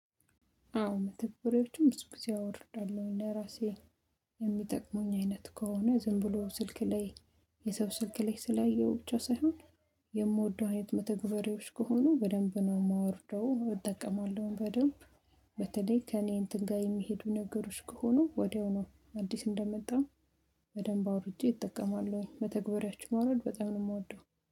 አዎ መተግበሪያዎችን ብዙ ጊዜ አወርዳለሁኝ ለራሴ የሚጠቅሙኝ አይነት ከሆነ ዝም ብሎ ስልክ ላይ የሰው ስልክ ላይ ስላየሁ ብቻ ሳይሆን። የምወደው አይነት መተግበሬዎች ከሆኑ በደንብ ነው የማወርደው እጠቀማለሁ በደንብ። በተለይ ከእኔ እንትን ጋር የሚሄዱ ነገሮች ከሆኑ ወዲያውኑ አዲስ እንደመጣም በደንብ አውርጄ እጠቀማለሁኝ። መተግበሪያዎች ማውረድ በጣም ነው የምወደው